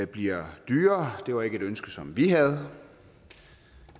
bliver dyrere det var ikke et ønske som vi havde